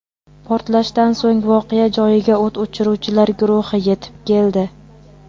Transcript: Portlashdan so‘ng voqea joyiga o‘t o‘chiruvchilar guruhi yetib keldi.